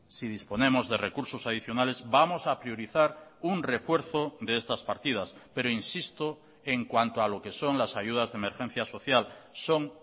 si disponemos de recursos adicionales vamos a priorizar un refuerzo de estas partidas pero insisto en cuanto a lo que son las ayudas de emergencia social son